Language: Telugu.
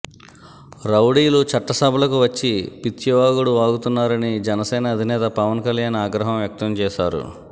రౌడీలు చట్టసభలకు వచ్చి పిచ్చివాగుడు వాగుతున్నారని జనసేన అధినేత పవన్ కళ్యాణ్ ఆగ్రహం వ్యక్తం చేశారు